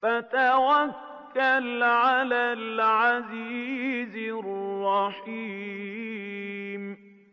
وَتَوَكَّلْ عَلَى الْعَزِيزِ الرَّحِيمِ